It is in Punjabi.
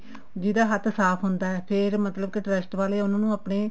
ਜਿਹੜਾ ਹੱਥ ਸਾਫ਼ ਹੁੰਦਾ ਫ਼ੇਰ ਮਤਲਬ ਕੇ trust ਵਾਲੇ ਉਹਨਾ ਨੂੰ ਆਪਣੇ